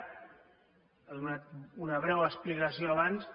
ha donat una breu explicació abans